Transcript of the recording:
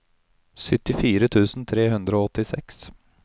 syttifire tusen tre hundre og åttiseks